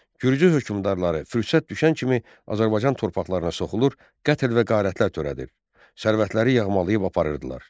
Gürcü hökmdarları fürsət düşən kimi Azərbaycan torpaqlarına soxulur, qətl və qarətlər törədir, sərvətləri yağmalayıb aparırdılar.